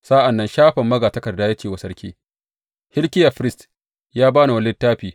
Sa’an nan Shafan magatakarda ya ce wa sarki, Hilkiya firist ya ba ni wani littafi.